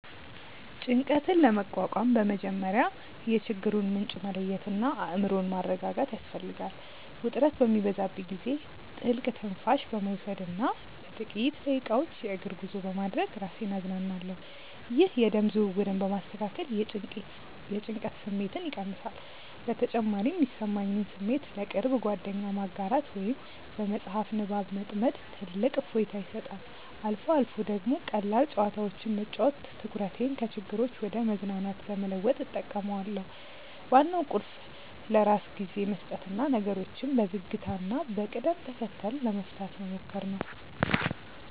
ጭንቀትን ለመቋቋም በመጀመሪያ የችግሩን ምንጭ መለየትና አእምሮን ማረጋጋት ያስፈልጋል። ውጥረት በሚበዛብኝ ጊዜ ጥልቅ ትንፋሽ በመውሰድና ለጥቂት ደቂቃዎች የእግር ጉዞ በማድረግ ራሴን አዝናናለሁ። ይህ የደም ዝውውርን በማስተካከል የጭንቀት ስሜትን ይቀንሳል። በተጨማሪም የሚሰማኝን ስሜት ለቅርብ ጓደኛ ማጋራት ወይም በመጽሐፍ ንባብ መጥመድ ትልቅ እፎይታ ይሰጣል። አልፎ አልፎ ደግሞ ቀላል ጨዋታዎችን መጫወት ትኩረቴን ከችግሮች ወደ መዝናናት ለመለወጥ እጠቀማለሁ። ዋናው ቁልፍ ለራስ ጊዜ መስጠትና ነገሮችን በዝግታና በቅደም ተከተል ለመፍታት መሞከር ነው።